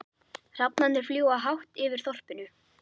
Hrafnarnir fljúga hátt yfir þorpinu.